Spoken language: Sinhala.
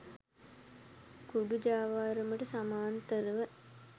කුඩු ජාවාරමට සමාන්තරව